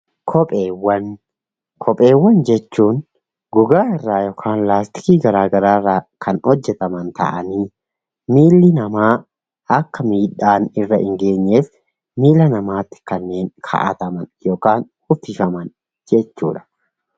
Kopheewwan jechuun gogaa irrraa yookaan laastikii garagaraa irraa kan hojjataman ta'anii miilli namaa akka miidhaan irra hin geenyeef miila namaatti kanneen kaawwataman yookaan uwwifaman jechuudha.